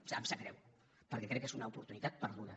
em sap greu perquè crec que és una oportunitat perduda